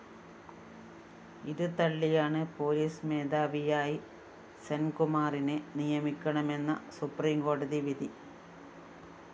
ഇത് തള്ളിയാണ് പോലീസ് മേധാവിയായി സെന്‍കുമാറിനെ നിയമിക്കണമെന്ന സുപ്രീംകോടതി വിധി